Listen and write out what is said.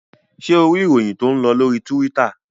Ṣé o rí ìròyìn tó ń lọ lórí Tíwítà?